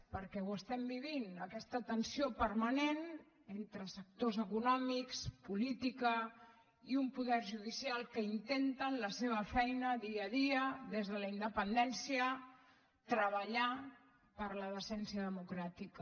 perquè ho estem vivint aquesta tensió permanent entre sectors econòmics política i un poder judicial que intenten la seva feina dia a dia des de la independència treballar per la decència democràtica